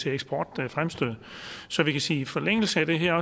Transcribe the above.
eksportfremstød så vi kan sige at i forlængelse af det her er